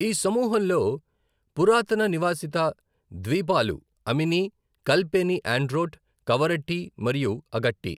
ఈ సమూహంలో పురాతన నివాసిత ద్వీపాలు అమిని, కల్పేని ఆండ్రోట్, కవరట్టి, మరియు అగట్టి.